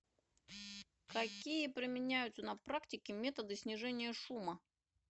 какие применяются на практике методы снижения шума